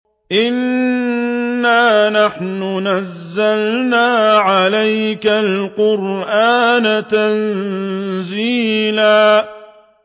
إِنَّا نَحْنُ نَزَّلْنَا عَلَيْكَ الْقُرْآنَ تَنزِيلًا